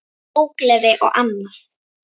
Ógleði og annað.